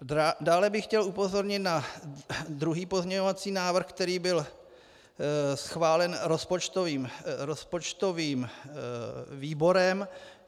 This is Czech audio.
Dále bych chtěl upozornit na druhý pozměňovací návrh, který byl schválen rozpočtovým výborem.